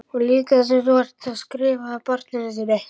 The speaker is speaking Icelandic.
Og líka það sem þú ert að skrifa barninu þínu?